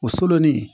O solonnin